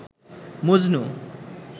Majnu